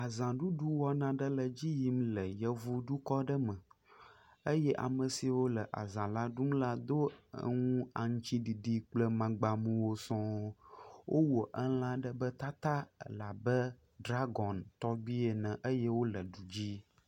Azãɖuɖu wɔna ɖe le edzi yim le yevudukɔ ɖe me eye amesiwo le azã la ɖum la do ŋu aŋutiɖiɖi kple aŋgbamuwo sɔɔŋ, wowɔ alã ɖe be tata le abe ɖragon tɔgbi ene eye wole du dzi.